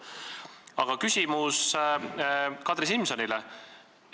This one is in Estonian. Aga küsimus Kadri Simsonile.